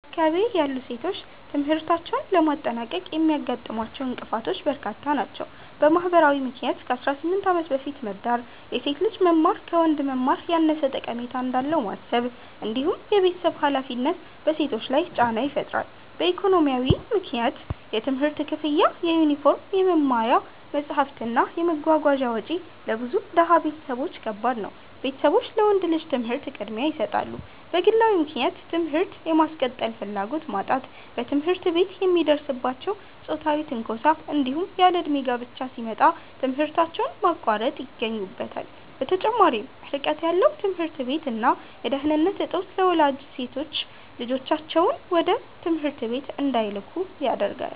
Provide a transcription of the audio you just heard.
በአካባቢዬ ያሉ ሴቶች ትምህርታቸውን ለማጠናቀቅ የሚያጋጥሟቸው እንቅፋቶች በርካታ ናቸው። በማህበራዊ ምክንያት ከ18 ዓመት በፊት መዳር፣ የሴት ልጅ መማር ከወንድ መማር ያነሰ ጠቀሜታ እንዳለው ማሰብ፣ እንዲሁም የቤተሰብ ሃላፊነት በሴቶች ላይ ጫና ይፈጥራሉ። በኢኮኖሚያዊ ምክንያት የትምህርት ክፍያ፣ የዩኒፎርም፣ የመማሪያ መጽሐፍት እና የመጓጓዣ ወጪ ለብዙ ድሃ ቤተሰቦች ከባድ ነው፤ ቤተሰቦች ለወንድ ልጅ ትምህርት ቅድሚያ ይሰጣሉ። በግለዊ ምክንያት ትምህርት የማስቀጠል ፍላጎት ማጣት፣ በትምህርት ቤት የሚደርስባቸው ጾታዊ ትንኮሳ፣ እንዲሁም ያለእድሜ ጋብቻ ሲመጣ ትምህርታቸውን ማቋረጥ ይገኙበታል። በተጨማሪም ርቀት ያለው ትምህርት ቤት እና የደህንነት እጦት ለወላጆች ሴት ልጆቻቸውን ወደ ትምህርት ቤት እንዳይልኩ ያደርጋል።